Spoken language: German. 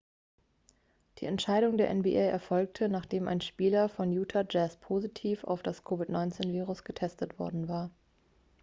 die entscheidung der nba erfolgte nachdem ein spieler von utah jazz positiv auf das covid-19-virus getestet worden war